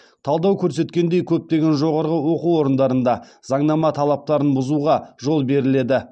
талдау көрсеткендей көптеген жоғарғы оқу орындарында заңнама талаптарын бұзуға жол беріледі